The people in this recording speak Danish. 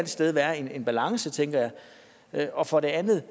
sted være en balance tænker jeg og for det andet